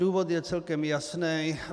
Důvod je celkem jasný.